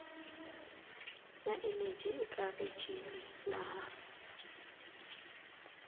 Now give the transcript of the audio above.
na eneji eka rijini laha